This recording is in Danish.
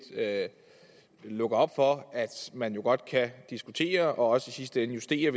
lukker op for at man godt kan diskutere og også i sidste ende justere